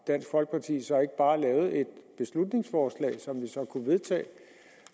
dansk folkeparti så ikke bare lavet et beslutningsforslag som vi så kunne vedtage